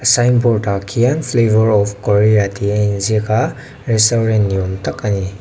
signboard ah khian flavour of korea tih a inziak a restaurant ni awm tak ani.